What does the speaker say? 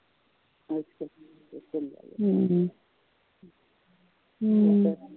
ਅੱਛਾ ਰੱਜੋ ਨੂੰ